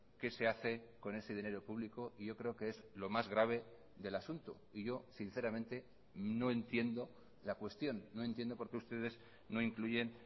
qué se hace con ese dinero público y yo creo que es lo más grave del asunto y yo sinceramente no entiendo la cuestión no entiendo por qué ustedes no incluyen